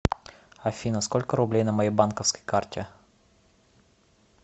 афина сколько рублей на моей банковской карте